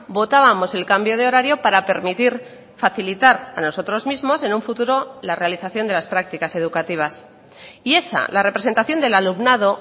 votábamos el cambio de horario para permitir facilitar a nosotros mismos en un futuro la realización de las prácticas educativas y esa la representación del alumnado